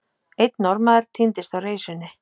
Einn Norðmaður týndist á reisunni.